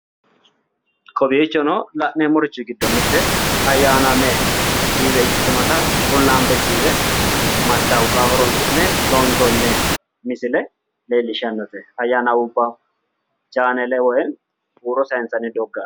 kowiichono la'neemorichi giddo mitte ayyanaame tiive ikkitinota qullaambe tiive mastawoqaho horonsi'ne loonsoonni misile leellishshannote ayyanaame chaalanubba woy huuro saansanni doogga